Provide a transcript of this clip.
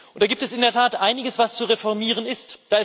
Da gibt es in der Tat einiges, was zu reformieren ist.